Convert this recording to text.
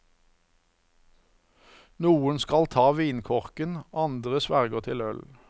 Noen skal ta vinkorken, andre sverger til øl.